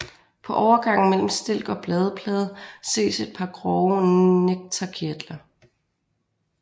På overgangen mellem stilk og bladplade ses et par grove nektarkirtler